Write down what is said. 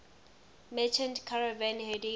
merchant caravan heading